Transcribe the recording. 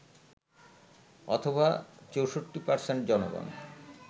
অথবা ৬৪% জনগণ